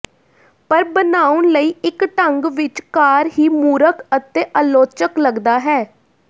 ਪਰ ਬਣਾਉਣ ਲਈ ਇੱਕ ਢੰਗ ਵਿੱਚ ਕਾਰ ਹੀ ਮੂਰਖ ਅਤੇ ਆਲੋਚਕ ਲੱਗਦਾ ਹੈ